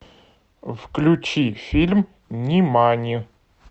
включи фильм нимани